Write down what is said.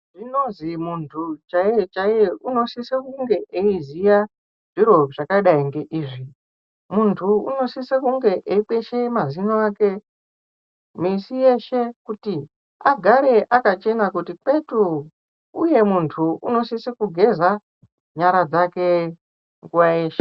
Zvinonzi muntu chaiye chaiye anosisa kunge eiziya zviro zvakadai ngeizvi muntu anosisa kunge eikwesha mazino ake misi yeshe kuti agare akachena kuti kwetu uye muntu anosisa kugeza nyara dzake nguwa yeshe.